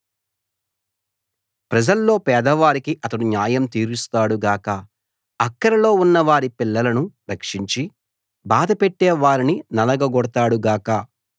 ప్రజల్లో పేదవారికి అతడు న్యాయం తీరుస్తాడు గాక అక్కరలో ఉన్నవారి పిల్లలను రక్షించి బాధపెట్టే వారిని నలగగొడతాడు గాక